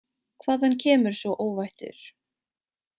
Hvaðan kemur sú óvættur?